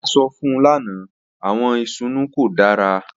A sọ fun u lana, awọn isusu ko dara.